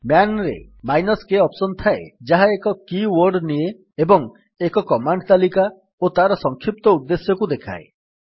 man ରେ -k option ଥାଏ ଯାହା ଏକ କି ୱର୍ଡ୍ ନିଏ ଏବଂ ଏକ କମାଣ୍ଡ ତାଲିକା ଓ ତାର ସଂକ୍ଷିପ୍ତ ଉଦ୍ଦେଶ୍ୟକୁ ଦେଖାଏ